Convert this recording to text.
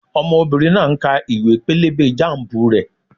Ọmọbìnrin náà ń ka ìwé-pélébé jámùbù rẹ̀